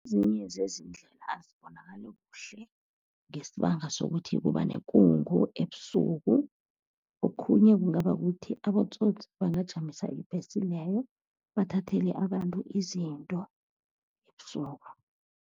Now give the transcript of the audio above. Ezinye zezindlela azibonakali kuhle ngesibanga sokuthi kuba bekungu ebusuku, okhunye kungaba kukuthi abotsotsi bangajamisa ibhesi leyo, bathathele abantu izinto ebusuku.